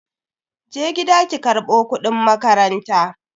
Je gida ki karbo kudin makaranta.